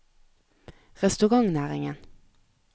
restaurantnæringen